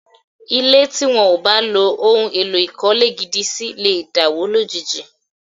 Ilé tí wọ́n ò bá lo ohun èlò ìkọ́lé gidi sí lè dàwó lójijì